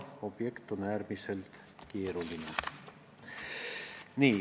Objekt on äärmiselt keeruline.